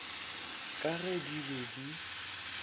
ka ge di be di